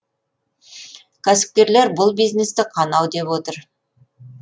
кәсіпкерлер бұл бизнесті қанау деп отыр